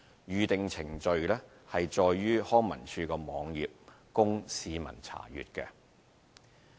《預訂程序》載於康文署網頁供市民查閱。